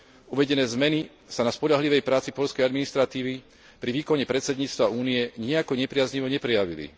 Uvedené zmeny sa na spoľahlivej práci poľskej administratívy pri výkone predsedníctva Únie nijako nepriaznivo neprejavili.